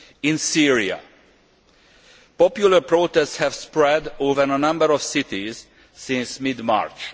In Syria, popular protests have spread over a number of cities since mid March.